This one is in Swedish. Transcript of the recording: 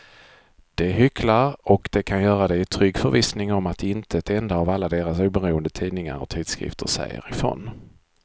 De hycklar och de kan göra det i trygg förvissning om att inte en enda av alla deras oberoende tidningar och tidskrifter säger ifrån.